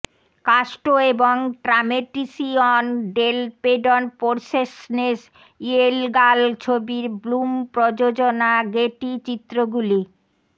কাস্টো এবং ট্রামেটিসিয়ন ডেল পেডন পোর্সেসনেস ইয়েলগাল ছবির ব্লুম প্রযোজনা গেটি চিত্রগুলি